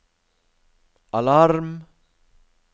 alarm